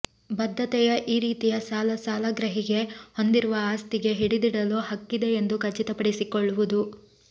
ಬದ್ಧತೆಯ ಈ ರೀತಿಯ ಸಾಲ ಸಾಲಗ್ರಾಹಿಗೆ ಹೊಂದಿರುವ ಆಸ್ತಿಗೆ ಹಿಡಿದಿಡಲು ಹಕ್ಕಿದೆ ಎಂದು ಖಚಿತಪಡಿಸಿಕೊಳ್ಳುವುದು